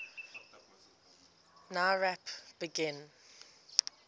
nowrap begin